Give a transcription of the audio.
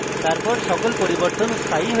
তারপর সকল পরিবর্তন স্থায়ী হয়ে যায়